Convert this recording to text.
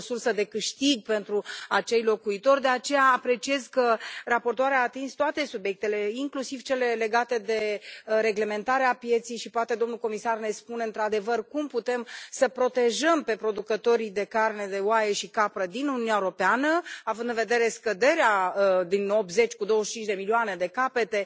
E o sursă de câștig pentru acei locuitori, de aceea apreciez că raportoarea a atins toate subiectele, inclusiv cele legate de reglementarea pieței și, poate, domnul comisar ne spune într adevăr cum putem să îi protejăm pe producătorii de carne de oaie și capră din Uniunea Europeană, având în vedere scăderea din 80 cu 25 de milioane de capete,